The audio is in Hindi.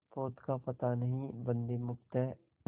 पोत का पता नहीं बंदी मुक्त हैं